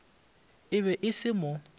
e be e se mo